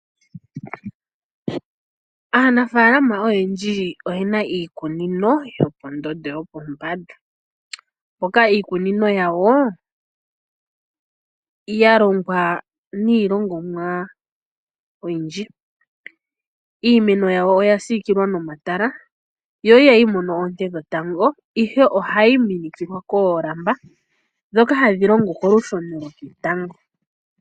Aanafaalama oyendji oye na iikunino yopondondo yopombanda moka iikunino yawo ya longwa niilongomwa oyindji. Iimeno yawo oya siikilwa nomatala yo ihayi mono oonte dhetango, ihe ohayi minikilwa koolamba ndhoka hadhi longo kolusheno loketango.